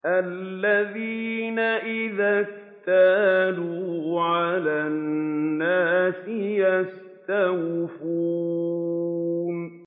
الَّذِينَ إِذَا اكْتَالُوا عَلَى النَّاسِ يَسْتَوْفُونَ